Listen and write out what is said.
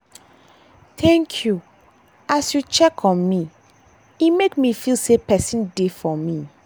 thank you as you check on me e make me feel sey person dey for me.